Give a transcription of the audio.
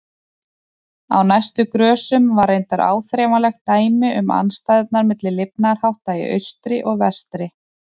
Á næstu grösum var reyndar áþreifanlegt dæmi um andstæðurnar milli lifnaðarhátta í austri og vestri.